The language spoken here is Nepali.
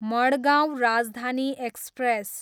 मड्गाँव राजधानी एक्सप्रेस